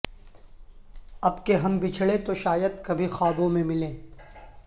اب کے ہم بچھڑے تو شاید کبھی خوابوں میں ملیں